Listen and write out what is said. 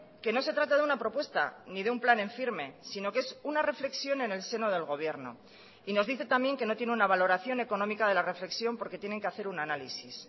que no se trata de una propuesta ni de un plan en firme sino que es una reflexión en el seno del gobierno y nos dice también que no tiene una valoración económica de la reflexión porque tienen que hacer un análisis